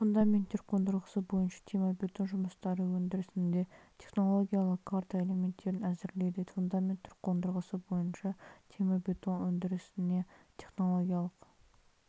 фундаменттер қондырғысы бойынша темірбетон жұмыстары өндірісінде технологиялық карта элементтерін әзірлейді фундаменттер қондырғысы бойынша темірбетон өндірісіне технологиялық